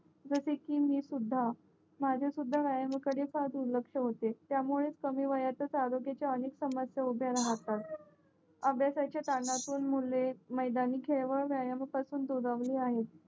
जसे कि सुद्धा माझे सुद्धा व्यायाम कडे फार दुर्लक्ष होते त्यामुळे कमी वयातच आरोग्याचा अधिक समस्या उभ्या रहातात अभ्यासाचा कारणातून मुले मैदानी खेळ व व्यायामा पासून दुरावले आहेत